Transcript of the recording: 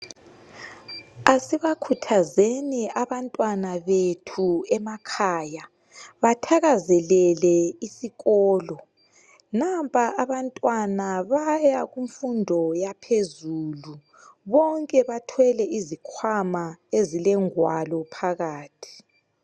Asibakhuthazeni abantwana bethu emakhaya, bathakazelele isikolo, nampa abantwana bayakumfundo yaphezulu bonke bathwele izikhwama ezilengwalo phakathi.